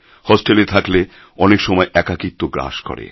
হোস্টেলে থাকলে অনেক সময় একাকীত্ব গ্রাস করে